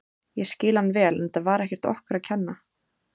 Ég skil hann vel en þetta var ekkert okkur að kenna.